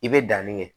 I bɛ danni kɛ